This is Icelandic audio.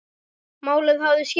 Málið hafði skilað sér.